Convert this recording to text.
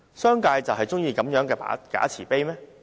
商界就喜歡如此的假慈悲嗎？